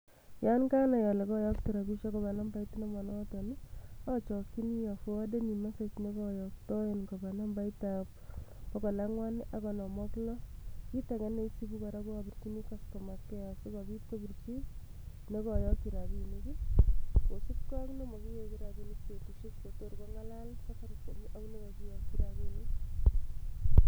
Yan kanai ale koyokte rabiishek koba nambait nemobo notok achachini aforwadani message nekoyoktoen koba nambaritab bokol angwan ak konom ak lo. Kit age ne isubi kora abirjini customer care si kobit kobirji ne kakiyakji rabiinik kosubgei ye makiwegu rabiinik betut che tor kongalal safaricom ak na kikiyakji rabiinik.